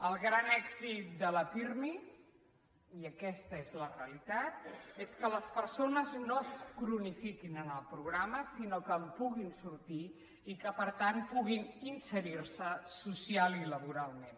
el gran èxit del pirmi i aquesta és la realitat és que les persones no es cronifiquin en el programa sinó que en puguin sortir i que per tant puguin inserir se socialment i laboralment